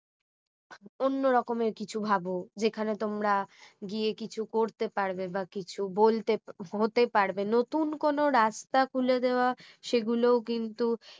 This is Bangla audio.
অন্য রকমের কিছু ভাব যেখানে তোমরা গিয়ে কিছু করতে পারবে বা কিছু বলতে হতে পারবে নতুন কোনো রাস্তা খুলে দেওয়া সে গুলো কিন্তু